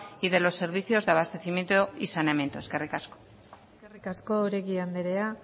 y de los servicios de abastecimiento y saneamiento eskerrik asko eskerrik asko oregi anderea